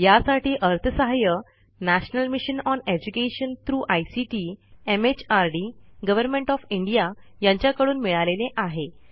यासाठी अर्थसहाय्य national mission on education through ICT MHRD government of India यांच्याकडून मिळालेले आहे